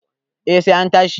eh sai an tashi